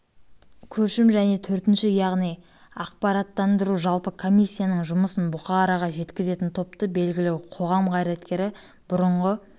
көшім және төртінші яғни ақпараттандыру жалпы комиссияның жұмысын бұқараға жеткізетін топты белгілі қоғам қайраткеріі бұрынғы